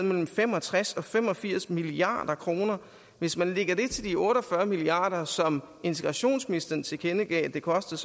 mellem fem og tres og fem og firs milliard kroner hvis man lægger det til de otte og fyrre milliard kr som integrationsministeren tilkendegav at det kostede